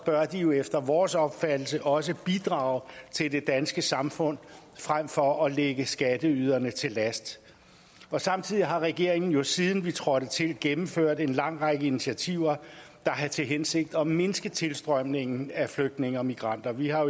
bør de efter vores opfattelse også bidrage til det danske samfund frem for at ligge skatteyderne til last samtidig har regeringen siden den trådte til gennemført en lang række initiativer der har til hensigt at mindske tilstrømningen af flygtninge og migranter vi har